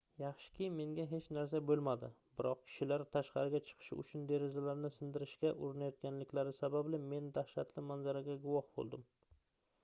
yaxshiki menga hech narsa boʻlmadi biroq kishilar tashqariga chiqish uchun derazalarni sindirishga urinayotganliklari sababli men dahshatli manzaraga guvoh boʻldim